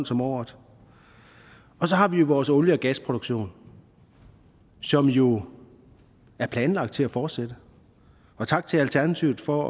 som året og så har vi vores olie og gasproduktion som jo er planlagt til at fortsætte tak til alternativet for